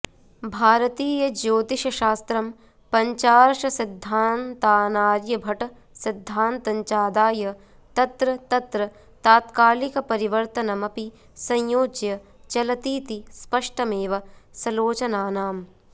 भारतीय ज्योतिषशास्त्रं पञ्चार्षसिद्धान्तानार्यभटसिद्धान्तञ्चादाय तत्र तत्र तात्कालिकपरिवर्तनमपि संयोज्य चलतीति स्पष्टमेव सलोचनानाम्